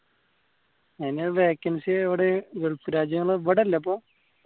അതിന് vacancy ഇവിടെ gulf രാജ്യങ്ങളിൽ ഇവിടെയില്ല അപ്പോ